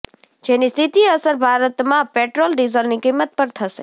જેની સીધી અસર ભારતમાં પેટ્રોલ ડિઝલની કિંમત પર તશે